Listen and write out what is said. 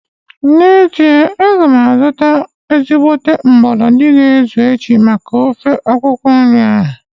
N'ezie, aga m azụta mgbolodi ga-ezu echi maka ofe akwụkwọ nri ahu